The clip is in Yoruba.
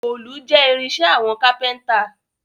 Òòlù jẹ́ irinṣẹ́ àwọn kápẹ́ntà